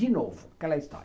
De novo, aquela história.